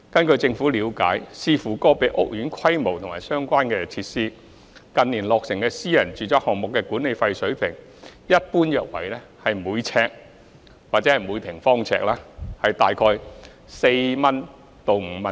據政府了解，視乎個別屋苑規模及相關設施，近年落成的私人住宅項目的管理費水平一般約為每平方呎4元至5元。